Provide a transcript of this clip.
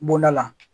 Bɔnda la